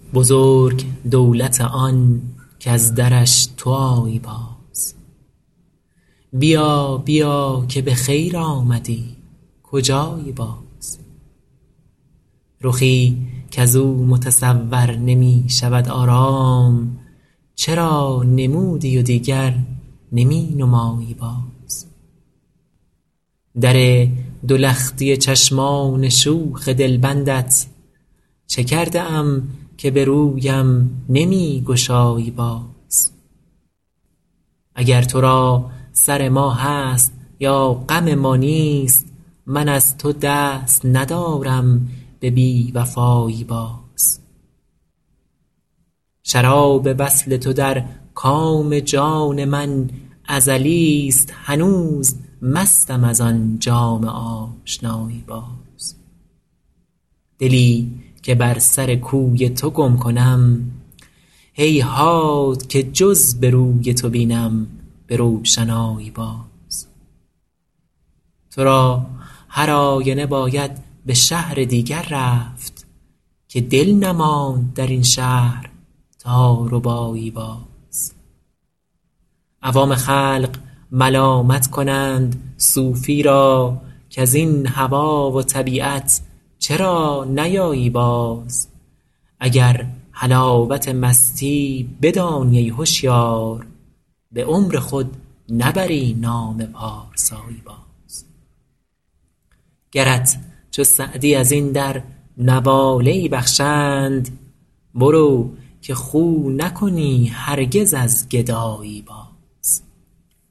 بزرگ دولت آن کز درش تو آیی باز بیا بیا که به خیر آمدی کجایی باز رخی کز او متصور نمی شود آرام چرا نمودی و دیگر نمی نمایی باز در دو لختی چشمان شوخ دلبندت چه کرده ام که به رویم نمی گشایی باز اگر تو را سر ما هست یا غم ما نیست من از تو دست ندارم به بی وفایی باز شراب وصل تو در کام جان من ازلیست هنوز مستم از آن جام آشنایی باز دلی که بر سر کوی تو گم کنم هیهات که جز به روی تو بینم به روشنایی باز تو را هر آینه باید به شهر دیگر رفت که دل نماند در این شهر تا ربایی باز عوام خلق ملامت کنند صوفی را کز این هوا و طبیعت چرا نیایی باز اگر حلاوت مستی بدانی ای هشیار به عمر خود نبری نام پارسایی باز گرت چو سعدی از این در نواله ای بخشند برو که خو نکنی هرگز از گدایی باز